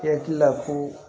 I hakili la ko